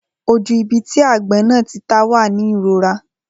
Ojú ibi tí agbón náà tí tá wá ní ìrora.